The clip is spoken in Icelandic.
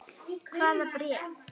Hvaða bréf?